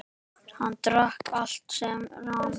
Hann drakk allt sem rann.